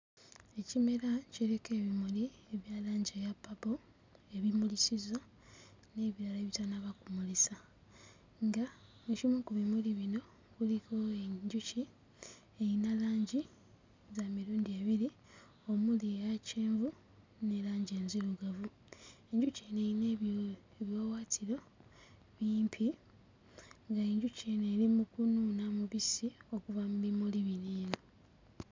Ekimera kiriko ebimuli ebya langi eya purple ebimulisizza n'ebirala ebitannaba kumulisa, nga ekimu ku bimuli kuno kuliko enjuki eyina langi za mirundi ebiri omuli eya kyenvu ne langi enzirugavu, enjuki eno eyina ebiwawaatiro bimpi ng'enjuki eno eri mu kunuuna mubisi okuva mu bimuli bino eno.